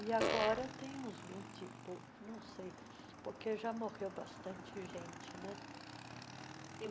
E agora tem uns vinte e poucos, não sei, porque já morreu bastante gente, né?